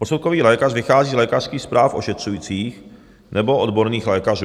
Posudkový lékař vychází z lékařských zpráv ošetřujících nebo odborných lékařů.